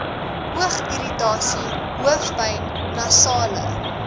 oogirritasie hoofpyn nasale